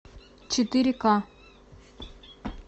четыре ка